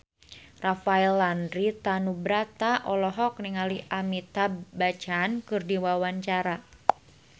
Rafael Landry Tanubrata olohok ningali Amitabh Bachchan keur diwawancara